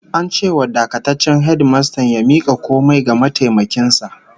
An ce wa dakataccen hedimastan ya mika komai ga mataimakin sa